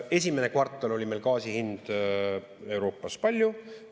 Esimene kvartal oli meil gaasi hind Euroopas kui palju?